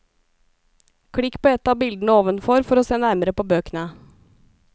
Klikk på et av bildene ovenfor for å se nærmere på bøkene.